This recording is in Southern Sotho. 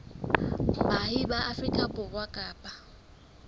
baahi ba afrika borwa kapa